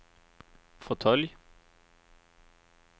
fåtölj